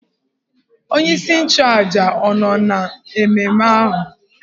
Onye isi nchụàjà ọ̀ nọ n'ememe ahụ?